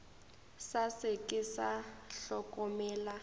sa se ke sa hlokomela